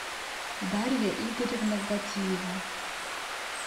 дарья игоревна гатиева